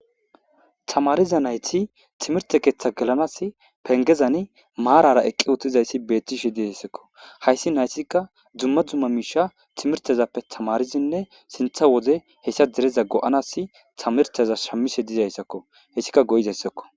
Tamaariza naythi thimirththe keeththa gelanaassi penggezani maaraara eqqi7uththizayssi beeththishee deesikko; hayssi nayssikka dumma dumma miishshaa thimirththezappe thamaarizinne sinththa wode hetha dere go7anaassi thamirththeza shammise desikkoo; ethikka go7iseezeessakkoo.